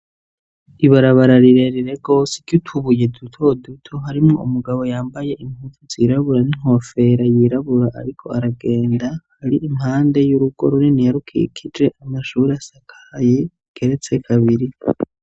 Ibarabara rirerire ry'utubuye duto duto harimwo umugabo yambaye impuzu zirabura n'inkofera yirabura ariko aragenda hari impande y'urugo runini rikikuje amashuri asakaye keretse abiri.